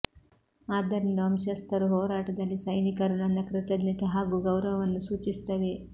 ಆದ್ದರಿಂದ ವಂಶಸ್ಥರು ಹೋರಾಟದಲ್ಲಿ ಸೈನಿಕರು ನನ್ನ ಕೃತಜ್ಞತೆ ಹಾಗೂ ಗೌರವವನ್ನು ಸೂಚಿಸುತ್ತವೆ